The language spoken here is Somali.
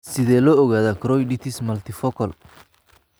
Sidee loo ogaadaa choroiditis multifocal?